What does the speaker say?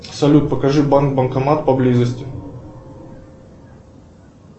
салют покажи банк банкомат поблизости